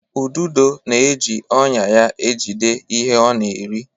Ududo na-eji ọnya ya ejide ihe ọ na-eri.